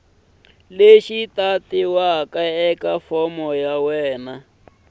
lexi tatiweke eka fomo ya